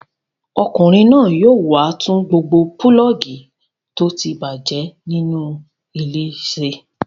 Ọkùnrin náà yóò wá tún gbogbo pulọ́ọ́gì tó ti bàjẹ́ nínú ilé ṣe.